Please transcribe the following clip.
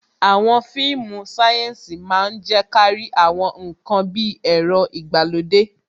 Àwọn fíìmù sayensi máa ń je kárí àwọn ǹkan bí ẹ̀rọ ìgbàlódé.